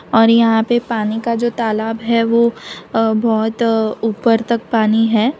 और यहां पे पानी का जो तालाब है। वह बहुत ऊपर तक पानी है।